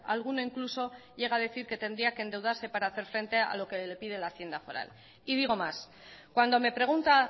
alguno incluso llega a decir que tendría que endeudarse para hacer frente a lo que le pide la haciendo foral y digo más cuando me pregunta